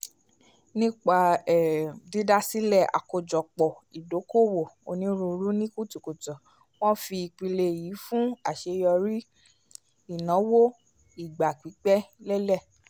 nipa um dídásílẹ̀ àkójọpọ̀ ìdòko-òwò onírúurú ni kùtùkùtù wọn fi ìpìlẹ̀ l fun aṣeyọri ìnáwó ìgbà-pípẹ́ lelẹ